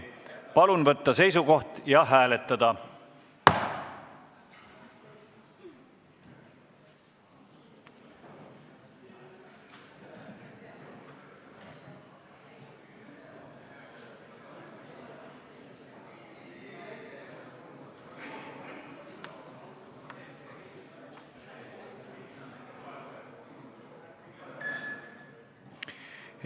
Palun võtta seisukoht ja hääletada!